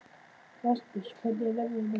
Rasmus, hvernig er veðrið á morgun?